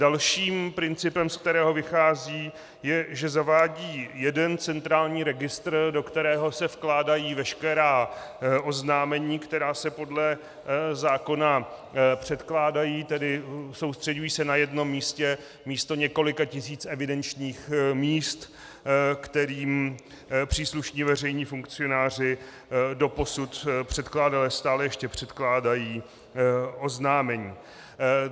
Dalším principem, ze kterého vychází, je, že zavádí jeden centrální registr, do kterého se vkládají veškerá oznámení, která se podle zákona předkládají, tedy soustřeďují se na jenom místě místo několika tisíc evidenčních míst, kterým příslušní veřejní funkcionáři doposud předkládali a stále ještě předkládají oznámení.